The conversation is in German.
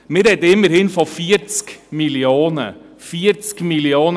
Wir sprechen immerhin von 40 Mio. Franken.